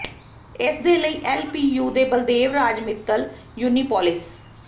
ਇਸਦੇ ਲਈ L P U ਦੇ ਬਲਦੇਵ ਰਾਜ ਮਿੱਤਲ ਯੂਨਿਪੋਲਿਸ